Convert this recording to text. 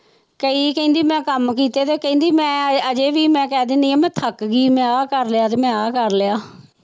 ਕਈ ਕਹਿੰਦੀ ਮੈਂ ਕੰਮ ਕੀਤੇ ਤੇ ਕਹਿੰਦੀ ਮੈਂ ਹਜੇ ਵੀ ਮੈਂ ਕਹਿ ਦਿੰਦੀ ਹਾਂ ਮੈਂ ਥੱਕ ਗਈ ਮੈਂ ਆਹ ਕਰ ਲਿਆ ਤੇ ਮੈਂ ਆਹ ਕਰ ਲਿਆ।